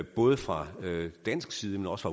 både fra dansk side men også